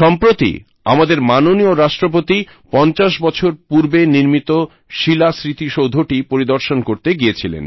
সম্প্রতি আমাদের মাননীয় রাষ্ট্রপতি ৫০ বছর পূর্বে নির্মিত শিলা স্মৃতিসৌধটি পরিদর্শন করতে গিয়েছিলেন